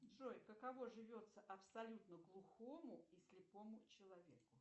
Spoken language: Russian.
джой каково живется абсолютно глухому и слепому человеку